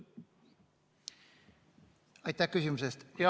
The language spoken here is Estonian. Aitäh küsimuse eest!